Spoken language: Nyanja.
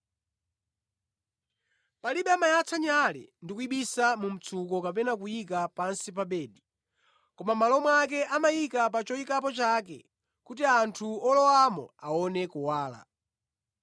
“Palibe amayatsa nyale ndi kuyibisa mu mtsuko kapena kuyika pansi pa bedi. Koma mʼmalo mwake, amayika pa choyikapo chake, kuti anthu olowamo aone kuwala.